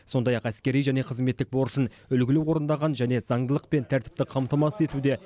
сондай ақ әскери және қызметтік борышын үлгілі орындағаны және заңдылық пен тәртіпті қамтамасыз етуде